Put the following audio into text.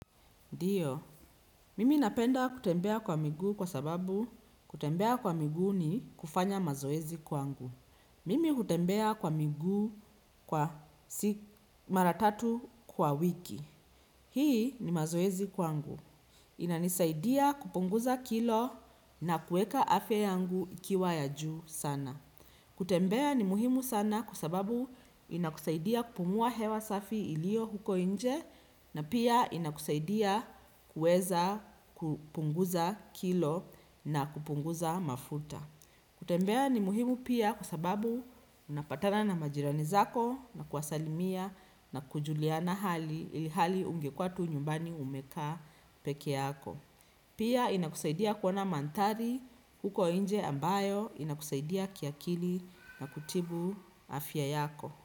Ndio. Mimi napenda kutembea kwa miguu kwa sababu kutembea kwa miguu ni kufanya mazoezi kwangu. Mimi hutembea kwa miguu kwa mara tatu kwa wiki. Hii ni mazoezi kwangu. Inanisaidia kupunguza kilo na kuweka afya yangu ikiwa ya juu sana. Kutembea ni muhimu sana kwa sababu inakusaidia kupumua hewa safi iliyo huko nje na pia inakusaidia kuweza kupunguza kilo na kupunguza mafuta. Kutembea ni muhimu pia kwa sababu unapatana na majirani zako na kuwasalimia na kujuliana hali ilhali ungekuwa tu nyumbani umekaa peke yako. Pia inakusaidia kuona mandhari huko nje ambayo inakusaidia kiakili na kutibu afya yako.